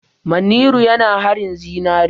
Manniru yana haƙin zinare.